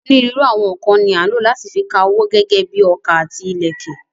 Onírúurú àwọn nǹkan ni à ń lò láti fi ka owó gẹ́gẹ́ bíi ọkà àti ìlẹ̀kẹ̀.